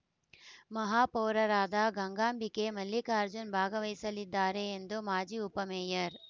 ಮಹಾಪೌರರಾದ ಗಂಗಾಂಬಿಕೆ ಮಲ್ಲಿಕಾರ್ಜುನ್‌ ಭಾಗವಹಿಸಲಿದ್ದಾರೆ ಎಂದು ಮಾಜಿ ಉಪ ಮೇಯರ್‌